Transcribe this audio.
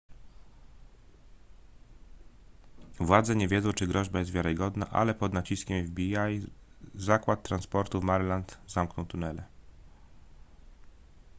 władze nie wiedzą czy groźba jest wiarygodna ale pod naciskiem fbi zakład transportu w maryland zamknął tunele